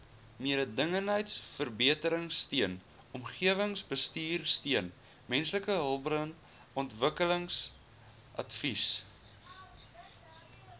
mededingendheidsverbeteringsteun omgewingsbestuursteun mensehulpbronontwikkelingsadvies